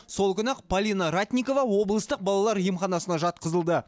сол күні ақ полина ратникова облыстық балалар емханасына жатқызылды